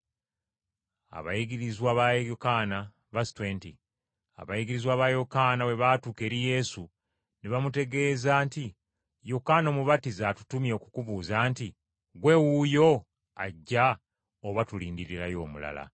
Abayigirizwa ba Yokaana bwe baatuuka eri Yesu, ne bamutegeeza nti, “Yokaana Omubatiza atutumye okukubuuza nti, Ggwe wuuyo ajja oba tulindirirayo omulala?”